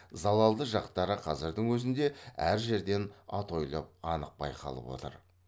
залалды жақтары қазірдің өзінде әр жерден атойлап анық байқалып отыр